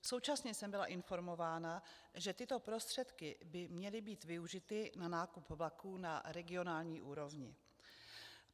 Současně jsem byla informována, že tyto prostředky by měly být využity na nákup vlaků na regionální úrovni.